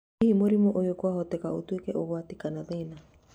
Hihi mũrimũ ũyũ kwahoteka ũtuĩke ũgwati/thĩna?